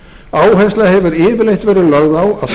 áhersla hefur yfirleitt verið lögð á